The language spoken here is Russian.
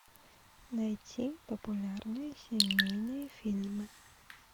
найти популярные семейные фильмы